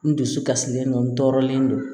N dusu kasilen don n tɔɔrɔlen don